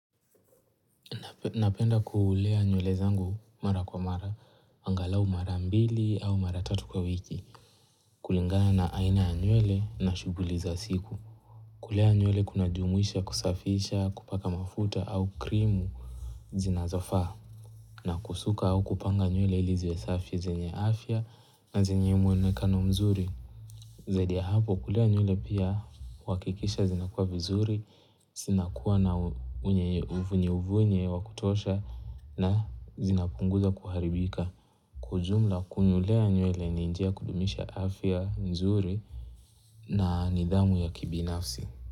Napenda kuulea nywele zangu mara kwa mara, angalau mara mbili au mara tatu kwa wiki. Kulingana na aina ya nywele na shughuli za siku. Kulea nywele kunajuimisha, kusafisha, kupaka mafuta au krimu zinazofaa. Na kusuka au kupanga nywele ili ziwe safi zenye afya na zenye mwonekano mzuri. Zaidi ya hapo kulea nywele pia huhakikisha zinakua vizuri, zinakuwa na uvunye uvunye wakutosha na zinapunguza kuharibika. Kwa ujumla kunulea nywele ni njia ya kudumisha afya nzuri na nidhamu ya kibinafsi.